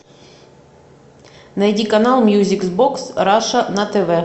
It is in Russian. найди канал мьюзик бокс раша на тв